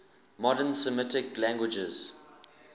modern semitic languages